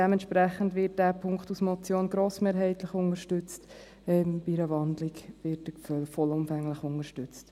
Dementsprechend wird der Punkt als Motion grossmehrheitlich unterstützt, bei einer Wandlung wird vollumfänglich unterstützt.